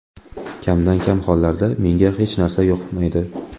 Kamdan-kam hollarda menga hech narsa yoqmaydi.